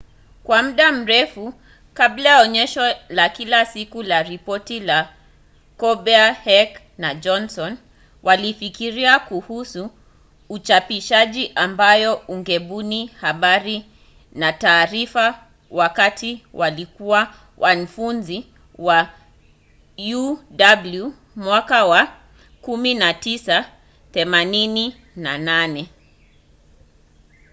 kwa muda mrefu kabla ya onyesho la kila siku na ripoti ya colbert heck na johnson walifikiria kuhusu uchapishaji ambao ungebuni habari na taarifa wakati walikua wanfunzi wa uw mwaka wa 1988